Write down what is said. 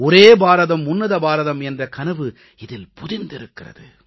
ஒன்றுபட்ட பாரதம் ஒப்பற்ற பாரதம் என்ற கனவு இதில் பொதிந்திருக்கிறது